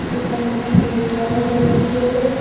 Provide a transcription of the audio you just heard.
এখানে একটি রুম দেখা যাচ্ছেএ।